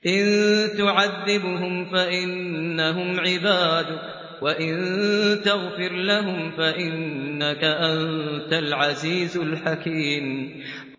إِن تُعَذِّبْهُمْ فَإِنَّهُمْ عِبَادُكَ ۖ وَإِن تَغْفِرْ لَهُمْ فَإِنَّكَ أَنتَ الْعَزِيزُ الْحَكِيمُ